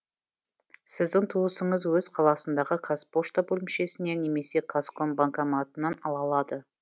сіздің туысыңыз өз қаласындағы қазпошта бөлімшесіне немесе казком банкоматынан ала алады